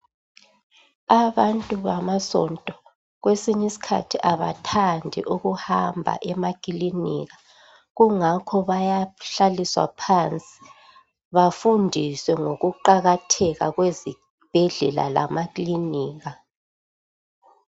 Abantu bamasonto kwesinyisikhathi abathandi ukuhamba emakilinika kungakho bayahlaliswa phansi bafundiswe ngokuqakatheka kwezibhedlela lamaklinika.